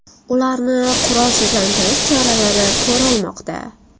Ularni qurolsizlantirish choralari ko‘rilmoqda.